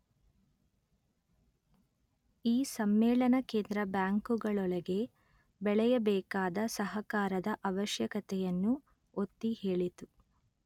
ಈ ಸಮ್ಮೇಳನ ಕೇಂದ್ರ ಬ್ಯಾಂಕುಗಳೊಳಗೆ ಬೆಳೆಯಬೇಕಾದ ಸಹಕಾರದ ಆವಶ್ಯಕತೆಯನ್ನು ಒತ್ತಿ ಹೇಳಿತು